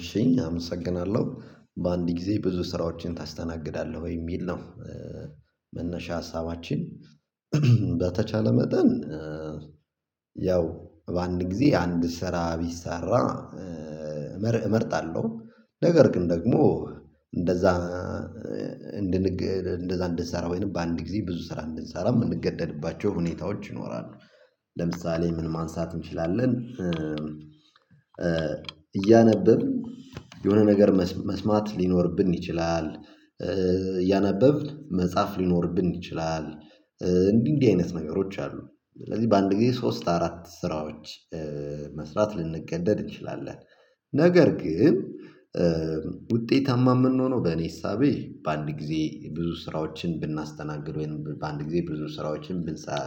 እሺ አመሰግናለሁ በአንድ ግዜ ብዙ ስራዎችን ታስተናግዳለህ የሚል ነው። መነሻ ሀሳባችን በተቻለ መጠን። ያው በአንድ ጊዜ አንድ ስራ ቢሰራ መርህ እመርጣለሁ ነገር ግን ደግሞ እንደዛ እንድሰራ ወይም በአንድ ጊዜ ብዙ ስራ እንድንሰራ የምንገደድባቸው ሁኔታዎች ይኖራሉ። ለምሳሌ ምን ማንሳት እንችላለን? እያነበብን የሆነ ነገር መስማት ሊኖርብን ይችላል እያነበብን መጻፍ ሊኖርብን ይችላል። እንዲህ እንዲህ አይነት ነገሮች አሉ። ስለዚህ በአንድ ጊዜ ሶስት አራት ስራዎች መስራት ልንገደድ እንችላለን። ነገር ግን ውጤታማ የምንሆነው በእኔ እሳቤ በአንድ ጊዜ ብዙ ስራዎችን ብናስተናግድ ወይም በአንድ ጊዜ ብዙ ስራዎችን ብንሰራ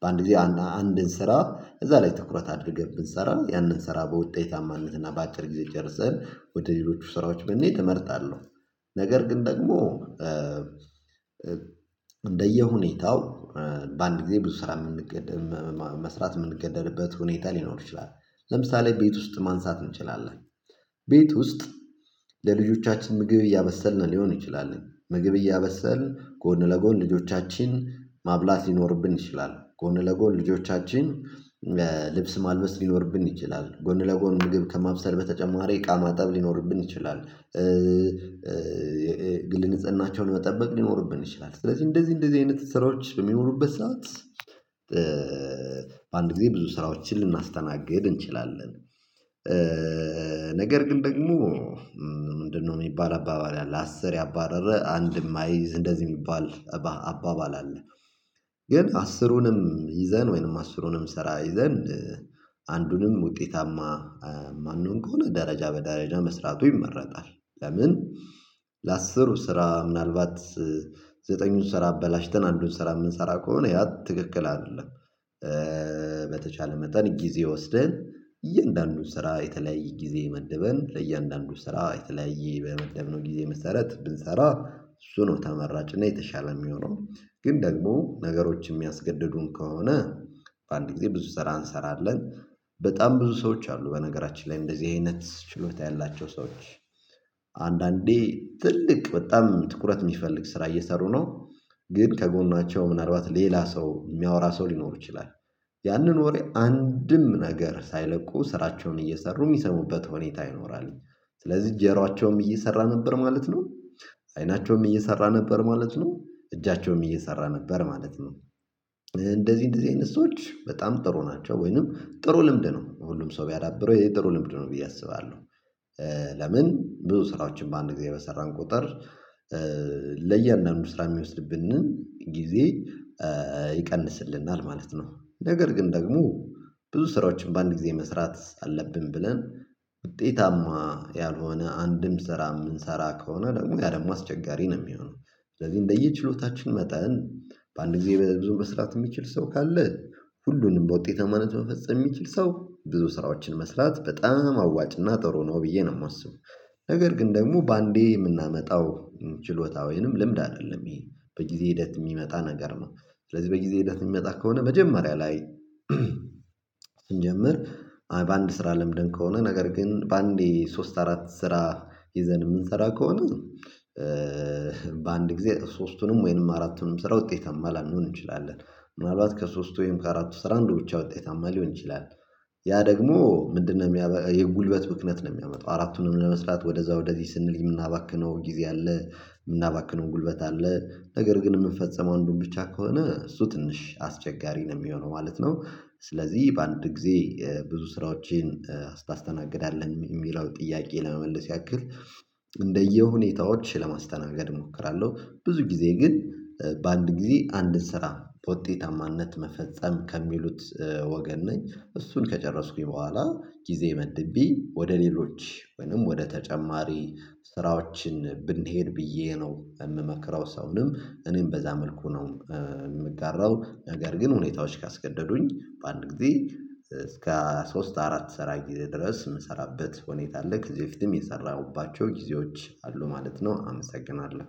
በአንድ ጊዜ አንድን ስራ እዛ ላይ ትኩረት አድርገን ብንሰራ ያንን ስራ በውጤታማነትና በአጭር ጊዜ ጨርሰን ወደ ሌሎቹ ስራዎች ብንሄድ እመረጣለሁ። ነገር ኝ ደግሞ እንደየሁኔታው በአንድ ጊዜ ብዙ ስራ የምንገደድም መስራት የምንገደድበት ሁኔታ ሊኖር ይችላል። ለምሳሌ ቤት ውስጥ ማንሳት እንችላለን ቤት ውስጥ ለልጆቻችን ምግብ እያበሰልን ሊሆን ይችላል ምግብ እያበሰልን ጎን ለጎን ልጆቻችንን ማብላት ሊኖርብን ይችላል ጎን ለጎን ልጆቻችንን ልብስ ማልበስ ሊኖርብን ይችላል ጎን ለጎን ምግብ ከማብሰል በተጨማሪ እቃ ማጠብ ሊኖርብን ይችላል የግል ንሕጽናቸውን መጠበቅ ሊኖርብን ይችላል ስለዚህ እንደዚህ እንደዚህ አይነት ስራዎች በሚኖሩበት ሰዓት በአንድ ጊዜ ብዙ ስራዎችን ልናስተናግድ እንችላለን። ነገር ግን ደግሞ ምንድነው የሚባል አባባል አለ አስር ያባረረ አንድም አይዝ እንደዚህ የሚባል አባባል አለ። ግን አስሩንም ይዘን ወይም አስሩንም ስራ ይዘን አንዱንም ውጤታማ ማንሆን ከሆነ ደረጃ በደረጃ መስራቱ ይመረጣል። ለምን ለአስሩ ስራ ምናልባት ዘጠኙን ስራ አበላሽተን አንዱን ስራ የምንሰራ ከሆነ ያ ትክክል አይደለም። በተቻለ መጠን ጊዜ ወስደን እያንዳንዱን ስራ የተለያየ ጊዜ መድበን ለእያንዳንዱ ስራ በተለያየ በመደብነው ጊዜ መሰረት ብንሰራ እሱ ነው ተመራጭ እና የተሻለ የሚሆነው። ግን ደግሞ ነገሮች የሚያስገድዱን ከሆነ በአንድ ጊዜ ብዙ ስራ እንሰራለን። በጣም ብዙ ሰዎች አሉ በነገራችን ላይ እንደዚህ አይነት ችሎታ ያላቸው ሰዎች አንዳንዴ ትልቅ በጣም ትኩረት የሚፈልግ ስራ እየሰሩ ነው ግን ከጎናቸው ምናልባት ሌላ ሰው የሚያወራ ሰው ሊኖር ይችላል ያንን ወሬ አንድም ነገር ሳይለቁ ስራቸውን እየሰሩ የሚሰሙበት ሁኔታ ይኖራል። ስለዚህ ጆሯቸውም እየሰራ ነበር ማለት ነው። አይናቸውም እየሰራ ነበር ማለት ነው። እጃቸውም እየሰራ ነበር ማለት ነው። እንደዚህ እንደዚህ አይነት ሰዎች በጣም ጥሩ ናቸው ወይም ጥሩ ልምድ ነው ሁሉም ሰው ቢያዳብረው ጥሩ ልምድ ነው ብዬ አስባለሁ። ብዙ ስራዎችን በአንድ ጊዜ በሰራን ቁጥር ለያንዳንዱ ስራ የሚወስድብንን ጊዜ ይቀንስልናል ማለት ነው። ነገር ግን ደግሞ ብዙ ስራዎችን በአንድ ጊዜ መስራት አለብን ብለን ውጤታማ ያልሆነ አንድም ስራ የምንሰራ ከሆነ ያው ደግሞ አስቸጋሪ ነው የሚሆነው። ስለዚህ እንደየችሎታችን መጠን በአንድ ጊዜ ብዙ መስራት የሚችል ሰው ካለ ሁሉንም በውጤታማነት መፈጸም የሚችል ሰው ብዙ ስራዎችን መስራት በጣም አዋጭና ጥሩ ነው ብዬ ነው የማስበው። ነገር ግን ደግሞ በአንዴ የምናመጣው ችሎታ ወይም ልምድ አይደለም ይሄ በጊዜ ሂደት የሚመጣ ነገር ነው። ስለዚህ በጊዜ ሂደት የሚመጣ ከሆነ መጀመሪያ ላይ ስንጀምር በአንድ ስራ ለምደን ከሆነ ነገር ግን በአንዴ ሶስት አራት ስራ ይዘን የምንሰራ ከሆነ በአንድ ጊዜ ሶስቱንም ወይም አራቱንም ስራ ውጤታማ ላንሆን እንችላለን። ምናልባት ከሶስቱ ወይም ከአራቱ ስራ አንዱ ብቻ ውጤታማ ሊሆን ይችላል። ያ ደግሞ ምንድነው የጉልበት ብክነት ነው የሚያመጣው አራቱንም ለመስራት ወደዛ ወደዚህ ስንል የምናባክነው ጊዜ አለ የምናባክነው ጉልበት አለ። ነገር ግን የምንፈጽመው አንዱን ብቻ ከሆነ እሱ ትንሽ አስቸጋሪ ነው የሚሆነው ማለት ነው። ስለዚህ በአንድ ጊዜ ብዙ ስራዎችን ታስተናግደለህ የሚለውን ጥያቄ ለመመለስ ያክል እንደየሁኔታዎች ለማስተናገድ እሞክራለሁ። ብዙ ጊዜ ግን በአንድ ጊዜ አንድን ስራ በውጤታማነት መፈጸም ከሚሉት ወገን ነኝ እሱን ከጨረስኩኝ በኋላ ጊዜ መድቤ ወደ ሌሎች ወይም ወደ ተጨማሪ ስራዎች ብንሄድ ብዬ ነው የምመክረው ሰውንም እኔም በዛ መልኩ ነው የምጋራው ነገር ግን ሁኔታዎች ካስገደዱኝ በአንድ ጊዜ እስከ ሶስት አራት ስራዎች ድረስ የምሰራበት ሁኔታ አለ። ከዚ በፊትም የሰራሁባቸው ጊዜዎች አሉ ማለት ነው። አመሰግናለሁ